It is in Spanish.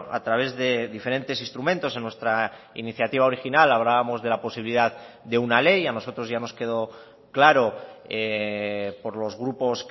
a través de diferentes instrumentos en nuestra iniciativa original hablábamos de la posibilidad de una ley a nosotros ya nos quedó claro por los grupos